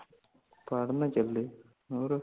ਪੜ੍ਹਨ ਚਲੇ ਹੋਰ